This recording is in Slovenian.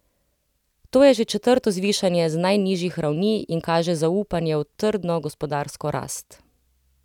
To je že četrto zvišanje z najnižjih ravni in kaže zaupanje v trdno gospodarsko rast.